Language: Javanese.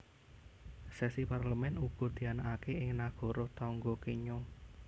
Sesi Parlemen uga dianakaké ing nagara tangga Kenya